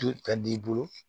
Tu ka d'i bolo